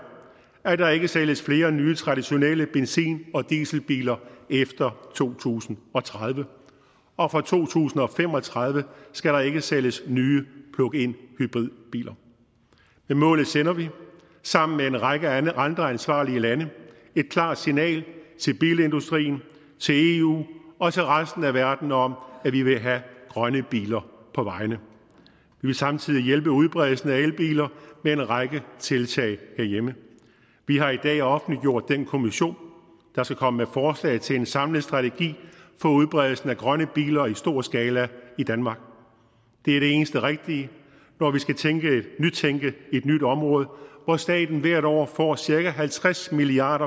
at der ikke sælges flere nye traditionelle benzin og dieselbiler efter to tusind og tredive og fra to tusind og fem og tredive skal der ikke sælges nye pluginhybridbiler med målet sender vi sammen med en række andre ansvarlige lande et klart signal til bilindustrien til eu og til resten af verden om at vi vil have grønne biler på vejene vi vil samtidig hjælpe udbredelsen af elbiler med en række tiltag herhjemme vi har i dag offentliggjort den kommission der skal komme med forslag til en samlet strategi for udbredelsen af grønne biler i stor skala i danmark det er det eneste rigtige når vi skal nytænke et nyt område hvor staten hvert år får cirka halvtreds milliard